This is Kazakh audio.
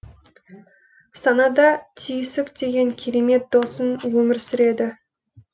санада түйсік деген керемет досың өмір сүреді